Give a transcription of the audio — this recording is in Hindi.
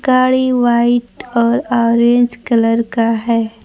गाड़ी वाइट और ऑरेंज कलर का है।